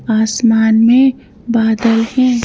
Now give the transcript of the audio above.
आसमान में बादल हैं।